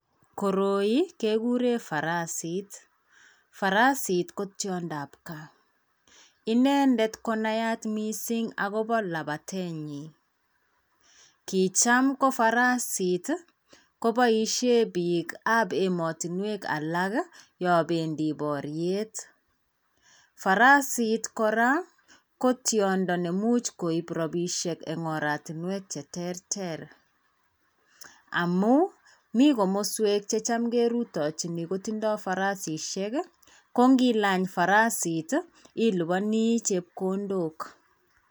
koroi keguree farasit , farsit ko tyondo ab gaa , inendet konaat missing agobaa labatenyi , kicham ko farasit kobaishei biik ab ematwenek alak yaabendi bariet ,farasit koraa ko tyondo neimuch koib rabishek eng oratunwek che terter amuu komii kamaswek checham kerutachin kotindai farasishek kongi lany farsit ilibani chepkondo